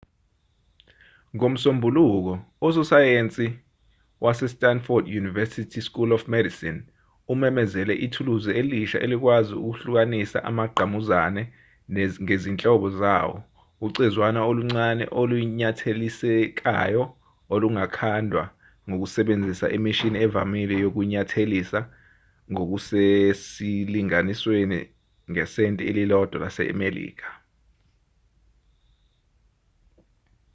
ngomsombuluko usosayensi wase-stanford university school of medicine umemezele ithuluzi elisha elikwazi ukuhlukanisa amagqamuzane ngezinhlobo zawo ucezwana oluncane olunyathelisekayo olungakhandwa ngokusebenzisa imishini evamile yokunyathelisa ngokusesilinganisweni ngesenti elilodwa lasemelika